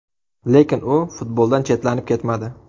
Lekin u futboldan chetlanib ketmadi.